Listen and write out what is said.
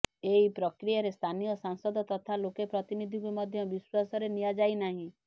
ଏହି ପ୍ରକ୍ରିୟାରେ ସ୍ଥାନୀୟ ସାଂସଦ ତଥା ଲୋକ ପ୍ରତିନିଧିଙ୍କୁ ମଧ୍ୟ ବିଶ୍ୱାସରେ ନିଆଯାଇ ନାହିଁ